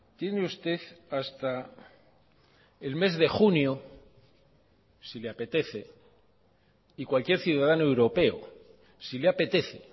tiene usted hasta el mes de junio si le apetece y cualquier ciudadano europeo si le apetece